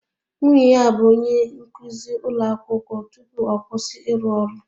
Nwunye ya bụ onye nkụzi ụlọ akwụkwọ tupu ọ kwụsị ịrụ ọrụ